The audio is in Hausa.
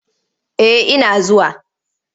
Eh ina zuwa.